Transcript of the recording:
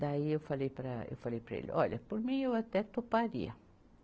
Daí eu falei para, eu falei para ele, olha, por mim eu até toparia.